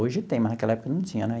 Hoje tem, mas naquela época não tinha né.